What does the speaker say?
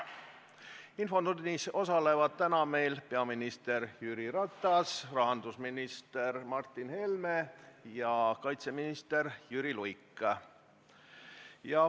Infotunnis osalevad täna peaminister Jüri Ratas, rahandusminister Martin Helme ja kaitseminister Jüri Luik.